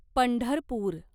Pandharpur